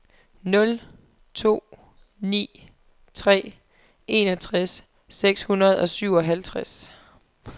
nul to ni tre enogtres seks hundrede og syvoghalvtreds